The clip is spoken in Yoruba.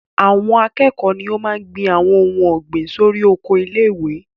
Àwọn akẹ́kọ̀ọ́ ni o máa n gbin àwọn ohun ọ̀gbìn sórí oko ilé-ìwé